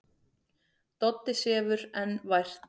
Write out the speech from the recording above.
Doddi sefur enn vært.